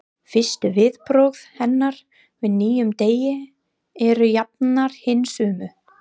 Fyrstu viðbrögð hennar við nýjum degi eru jafnan hin sömu.